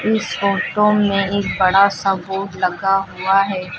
इस फोटो में एक बड़ा सा बोर्ड लगा हुआ है।